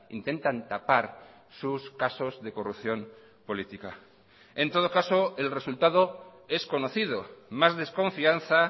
intentan tapar sus casos de corrupción política en todo caso el resultado es conocido más desconfianza